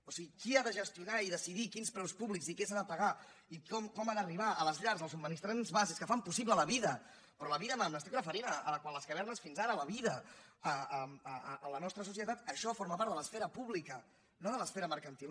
o sigui qui ha de gestionar i decidir quins preus públics i què s’ha de pagar i com ha d’arribar a les llars els subministraments bàsics que fan possible la vida però la vida m’estic referint quan les cavernes fins ara la vida a la nostra societat això forma part de l’esfera pública no de l’esfera mercantil